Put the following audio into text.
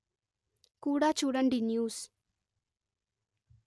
కూడా చూడండి న్యూస్